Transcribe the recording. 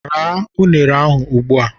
Raa unere ahụ ugbu a!